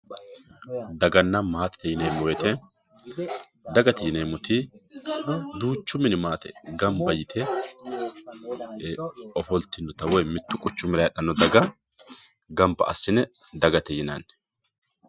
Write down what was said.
daganna maatete yineemmo woyte dagate yineemmo woyte mittu minni gamba yee ofollinota mittu quchumira heedhanno daga gamba assine dagate yinanni